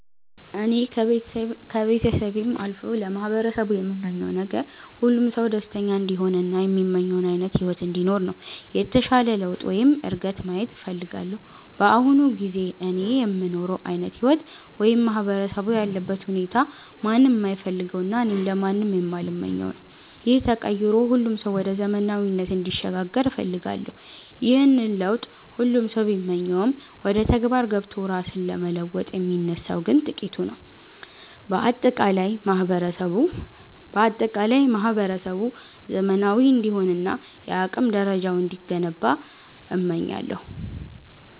እኔ ከቤተሰቤም አልፎ ለማህበረሰቡ የምመኘው ነገር፣ ሁሉም ሰው ደስተኛ እንዲሆን እና የሚመኘውን ዓይነት ሕይወት እንዲኖር ነው። የተሻለ ለውጥ ወይም እድገት ማየት እፈልጋለሁ። በአሁኑ ጊዜ እኔ የምኖረው ዓይነት ሕይወት ወይም ማህበረሰቡ ያለበት ሁኔታ ማንም የማይፈልገውና እኔም ለማንም የማልመኘው ነው። ይህ ተቀይሮ ሁሉም ሰው ወደ ዘመናዊነት እንዲሸጋገር እፈልጋለሁ። ይህንን ለውጥ ሁሉም ሰው ቢመኘውም፣ ወደ ተግባር ገብቶ ራሱን ለመለወጥ የሚነሳው ግን ጥቂቱ ነው። በአጠቃላይ ማህበረሰቡ ዘመናዊ እንዲሆንና የአቅም ደረጃው እንዲገነባ እመኛለሁ።